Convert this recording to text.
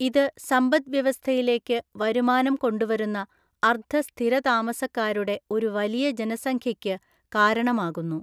ഇത് സമ്പദ്‌വ്യവസ്ഥയിലേക്ക് വരുമാനം കൊണ്ടുവരുന്ന അർദ്ധ സ്ഥിരതാമസക്കാരുടെ ഒരു വലിയ ജനസംഖ്യയ്ക്ക് കാരണമാകുന്നു.